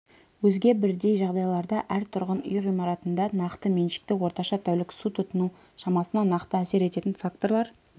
өзге бірдей жағдайларда әр тұрғын үй ғимаратында нақты меншікті орташа тәулік су тұтыну шамасына нақты әсер ететін факторлар